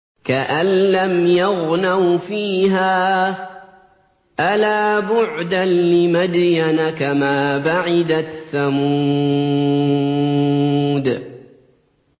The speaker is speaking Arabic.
كَأَن لَّمْ يَغْنَوْا فِيهَا ۗ أَلَا بُعْدًا لِّمَدْيَنَ كَمَا بَعِدَتْ ثَمُودُ